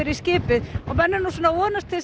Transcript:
í skipið vonast til